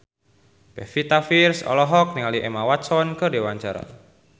Pevita Pearce olohok ningali Emma Watson keur diwawancara